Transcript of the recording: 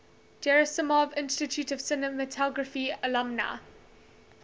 gerasimov institute of cinematography alumni